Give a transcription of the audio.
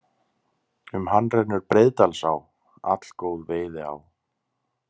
Um hann rennur Breiðdalsá, allgóð veiðiá.